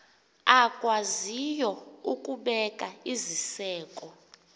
akwaziyo ukubeka iziseko